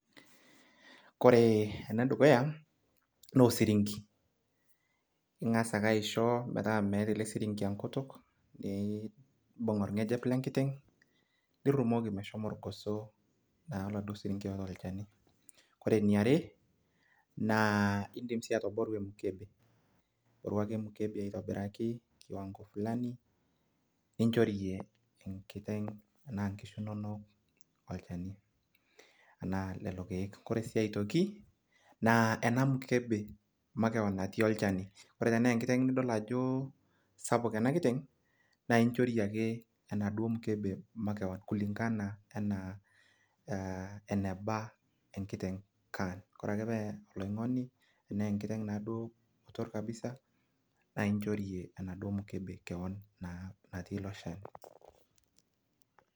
kore ene dukuya naa osirinki. ing'as ake aisho metaa meeta ele sirinki enkutuk, nibung orgejep lenkiteng nirumoki meshomo irgoso. naa oladuo sirinki oota olchani. ore eniare naa idim sii atoboru emukebe. iboru ake emukebe aitobiraki ninchorie inkishu inonok olchani.